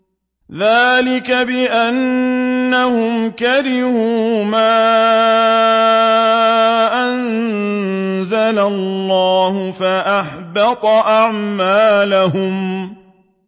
ذَٰلِكَ بِأَنَّهُمْ كَرِهُوا مَا أَنزَلَ اللَّهُ فَأَحْبَطَ أَعْمَالَهُمْ